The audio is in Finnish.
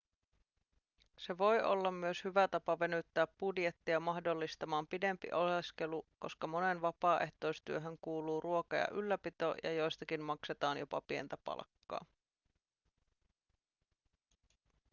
se voi olla myös hyvä tapa venyttää budjettia mahdollistamaan pidempi oleskelu koska moneen vapaaehtoistyöhön kuuluu ruoka ja ylläpito ja joistakin maksetaan jopa pientä palkkaa